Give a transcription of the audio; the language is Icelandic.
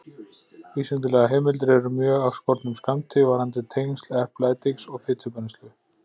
Vísindalegar heimildir eru mjög af skornum skammti varðandi tengsl eplaediks og fitubrennslu.